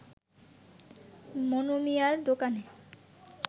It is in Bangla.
মনুমিয়ার দোকানে